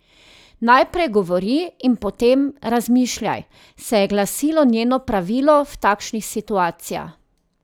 Najprej govori in potem razmišljaj, se je glasilo njeno pravilo v takšnih situacijah.